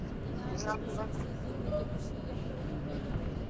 ಏನಾದ್ರು ಬಿಸಿ ಬಿಸಿ ತಿನ್ಲಿಕ್ಕೆ ಖುಷಿಯಾಗ್ತದಲ್ಲ ಮಳೆ ಬರುವಾಗ?